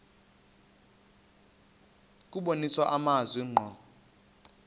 kubonisa amazwi ngqo